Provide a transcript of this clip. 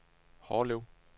Hårlev